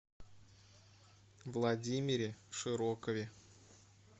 владимире широкове